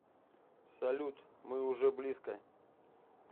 салют мы уже близко